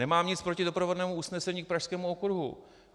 Nemám nic proti doprovodnému usnesení k Pražskému okruhu.